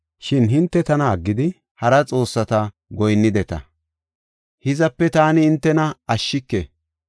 Shin hinte tana aggidi hara xoossata goyinnideta; hizape taani hintena ashshike.